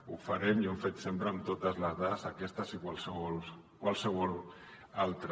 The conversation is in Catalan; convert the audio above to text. ho farem i ho hem fet sempre amb totes les dades aquestes i qualssevol altres